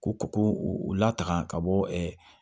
Ko ko u lataga ka bɔ